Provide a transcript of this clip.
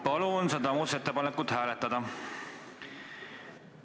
Palun seda muudatusettepanekut hääletada!